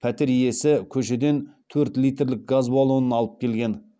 пәтер иесі көшеден төрт литрлік газ баллонын алып келген